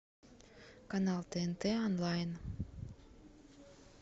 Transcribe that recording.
канал тнт онлайн